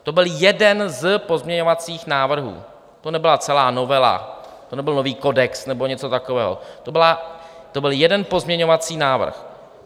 To byl jeden z pozměňovacích návrhů, to nebyla celá novela, to nebyl nový kodex nebo něco takového, to byl jeden pozměňovací návrh.